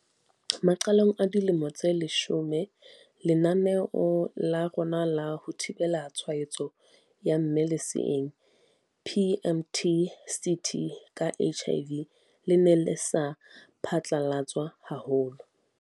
Maqalong a dilemo tse leshome, lenaneo la rona la ho thibela tshwaetso ya mme leseeng, PMTCT, ka HIV le ne le sa phatlalatswa haholo.